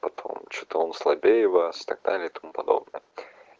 топом что-то он слабее вас и так далее и тому подобное